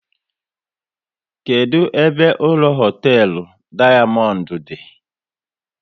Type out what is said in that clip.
Kedụ ebe ụlọ hoteelu Dayamondu di?